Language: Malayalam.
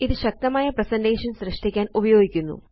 ഇത് ശക്തമായ പ്രസന്റേഷൻസ് സൃഷ്ടിക്കാന് ഉപയോഗിക്കുന്നു